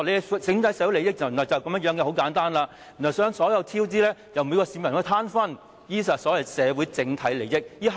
他們把社會整體利益說得如此簡單，所有超支款項由每名市民攤分，這便是他們所謂的社會整體利益。